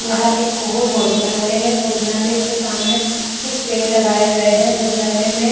यहाँ एक कुहू भोजनालय है भोजनलाय के सामने कुछ पेड़ लगाये गए है भोजनालय मे --